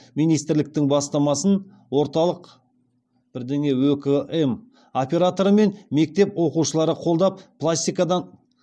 министрліктің бастамасын өкм операторы мен мектеп оқушылары қолдап